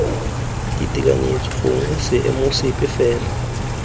ditekanyetso gongwe seemo sepe fela